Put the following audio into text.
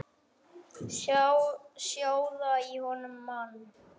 Sjóða í honum mann!